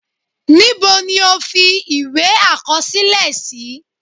Níbo ni o fi ìwé àkọsílẹ sí?